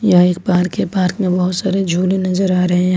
यह एक बाहर के पार्क में बहोत सारे झूले नजर आ रहे हैं।